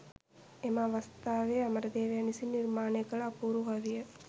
එම අවස්ථාවේ අමරදේවයන් විසින් නිර්මාණය කළ අපූරු කවිය